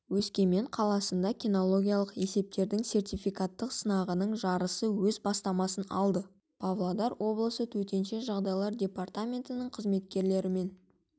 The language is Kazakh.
өскемен қаласында кинологиялық есептердің сертификаттық сынағының жарысы өз бастамасын алды павлодар облысы төтенше жағдайлар департаментінің қызметкерлерімен